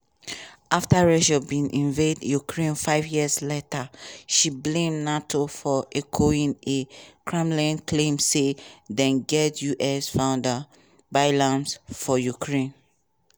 afta russia bin invade ukraine five years later she blame nato and echoe a kremlin claim say dem get us-funded biolabs for ukraine.